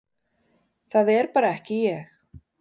Það er bara ekki ég,